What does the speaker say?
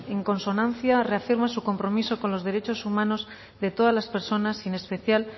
en consonancia reafirma su compromiso con los derechos humanos de todas la personas y en especial